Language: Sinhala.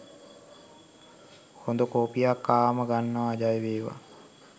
හොඳ කොපියක් ආවම ගන්නවා ජයවේවා.